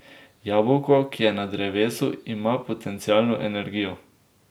Jabolko, ki je na drevesu, ima potencialno energijo.